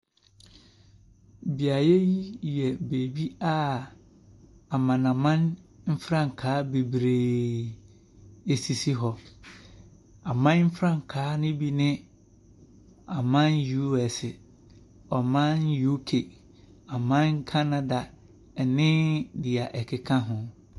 Beaeɛ yi yɛ baabi a amanaman frankaa bebree sisi hɔ. Aman frankaa no bi ne, aman USA, ɔman UK, ɔman Canada ne deɛ ɛkeka ho.